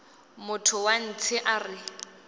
motho wa ntshe a re